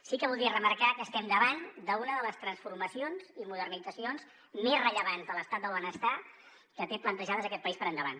sí que voldria remarcar que estem davant d’una de les transformacions i modernitzacions més rellevants de l’estat del benestar que té plantejades aquest país per endavant